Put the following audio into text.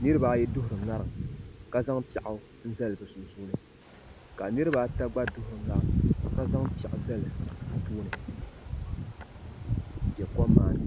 niraba ayi duɣuri ŋarim ka zaŋ piɛɣu n zali bi sunsuuni ka niraba ata gba duɣuri ŋarim ka zaŋ piɛɣu zali bi tooni n bɛ kom maa ni